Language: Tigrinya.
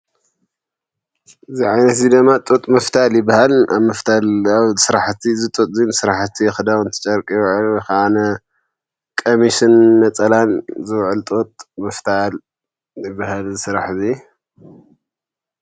እዚ ዓይነት እዙይ ድማ ጡጥ ምፍታል ይባሃል። ኣብ ምፍታል ኣብ ስራሕቲ እዚ ጡጥ እዙይ ብስራሕቲ ክዳውንቲ ጨርቂ ዝውዕሉ ከዓነ ቀሚስን ነፀላን ዝውዕል ጡጥ ምፍታል ይባሃል፤ እዙይ ስራሕ እዙይ